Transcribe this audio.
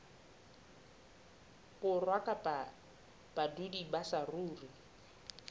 borwa kapa badudi ba saruri